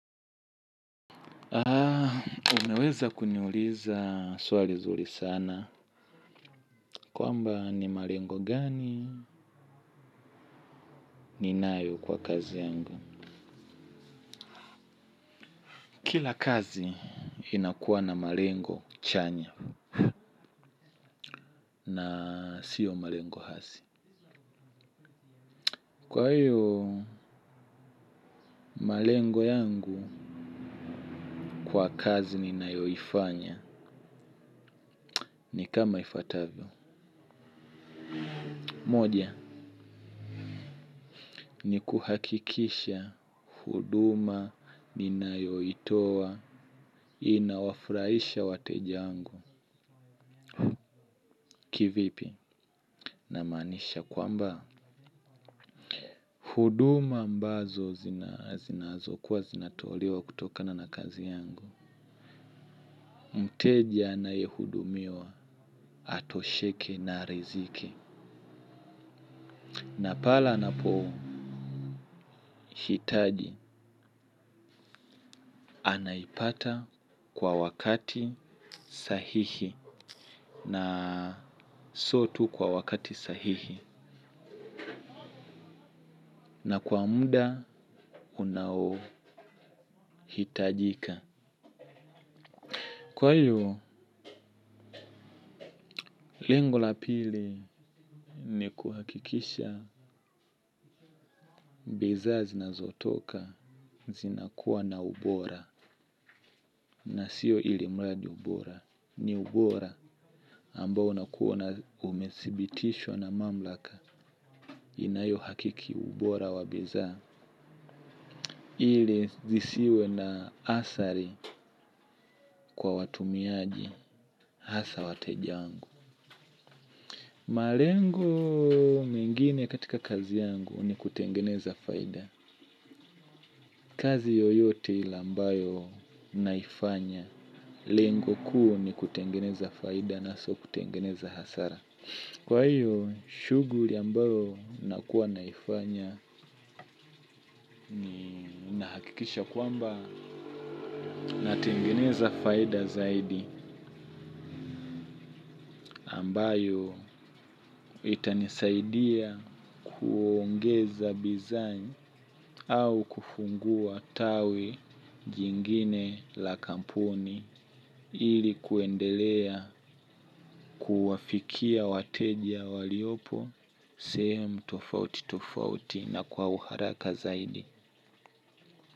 Haa, umeweza kuniuliza swali zuri sana. Kwamba ni marengo gani ninayo kwa kazi yangu. Kila kazi inakuwa na marengo chanya. Na sio marengo hasi. Kwa hiyo, marengo yangu kwa kazi ninayoifanya. Ni kama ifuatavyo. Moja, ni kuhakikisha huduma ninayoitoa. Toa inawafuraisha wateja angu kivipi namaanisha kwamba huduma ambazo zinazokuwa zinatolewa kutokana na kazi yangu. Mteja anayehudumiwa atosheke na riziki. Na pale anapohitaji anaipata kwa wakati sahihi na sio tu kwa wakati sahihi na kwa muda unaohitajika. Kwa hivo, lengo la pili ni kuhakikisha bizaa zinazotoka zinakuwa na ubora na sio ilimradi ubora. Ni ubora ambao unakuwa na umesibitishwa na mamlaka inayohakiki ubora wa bizaa. Ili zisiwe na asari kwa watumiaji hasa wateja wangu. Malengo mengine katika kazi yangu ni kutengeneza faida. Kazi yoyote ile ambayo naifanya lengo kuu ni kutengeneza faida na sio kutengeneza hasara. Kwa hiyo shuguri ambayo nakuwa naifanya kikisha kwamba natengeneza faida zaidi ambayo itanisaidia kuongeza bizaa au kufungua tawi jingine la kampuni ili kuendelea kuwafikia wateja waliopo sehemu tofauti tofauti na kwa uharaka zaidi.